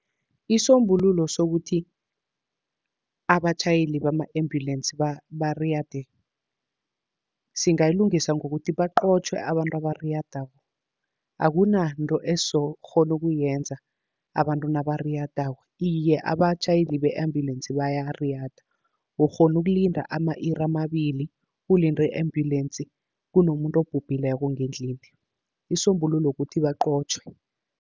Isombululo sokuthi abatjhayeli bama-ambulance bariyade, singayilungisa ngokuthi baqotjhwe abantu abariyadako, akunanto esizokukghona ukuyenza abantu nabariyadako. Iye abatjhayeli be-ambulance bayariyada, ukghona ukulinda ama-iri amabili ulinde i-ambulance, kunomuntu obhubhileko ngendlini. Isisombululo kukuthi baqotjhwe.